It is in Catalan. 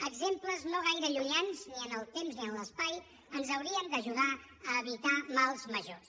exemples no gaire llunyans ni en el temps ni en l’espai ens haurien d’ajudar a evitar mals majors